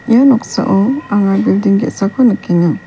ia noksao anga bilding ge·sako nikenga.